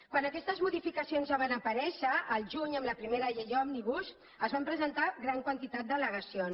quan aquestes modificacions ja van aparèixer el juny amb la primera llei òmnibus es van presentar gran quantitat d’allegacions